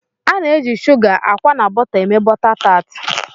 Ana eji Suga, akwa na bóta eme bôta tart.